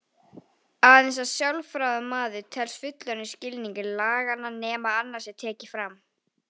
Aðeins að sjálfráða maður telst fullorðinn í skilningi laganna nema annað sé tekið fram.